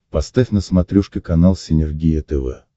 поставь на смотрешке канал синергия тв